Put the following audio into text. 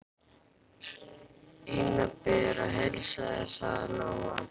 Ína biður að heilsa þér, sagði Lóa.